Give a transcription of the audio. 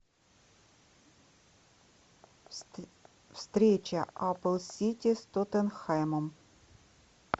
встреча апл сити с тоттенхэмом